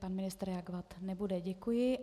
Pan ministr reagovat nebude, děkuji.